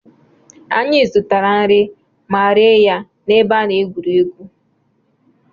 Anyị zụtara nri ma rie ya n'ebe a na-egwuri egwu.